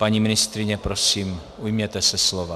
Paní ministryně, prosím, ujměte se slova.